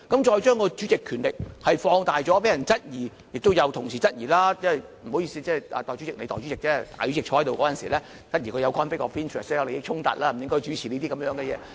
再將主席權力放大，被人質疑，亦有同事質疑——不好意思，你是代理主席——當大主席主持會議時，質疑他有利益衝突，不應主持會議。